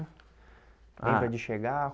Ah Lembra de chegar?